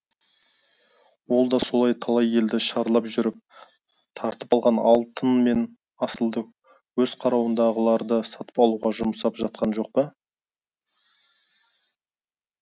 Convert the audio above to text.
ол да сол талай елді шарлап жүріп тартып алған алтын мен асылды өз қарауындағыларды сатып алуға жұмсап жатқан жоқ па